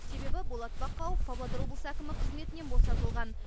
себебі болат бақауов павлодар облысы әкімі қызметінен босатылған